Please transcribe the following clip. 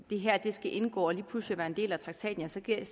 det her skal indgå lige pludselig være en del af traktaten så er